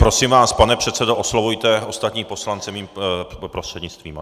Prosím vás, pane předsedo, oslovujte ostatní poslance mým prostřednictvím!